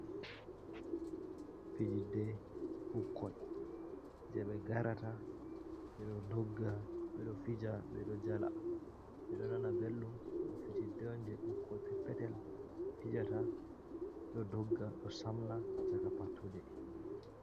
Fijidde ɓukkoi, jei ɓe garata, ɓe ɗo dogga, ɓe ɗo fija ɓe ɗo jala, ɓe ɗo nana belɗum. Ɗo fijidde jei ɓukkoi peppetel fijata ɗo dogga, ɗo samna chaka pattude.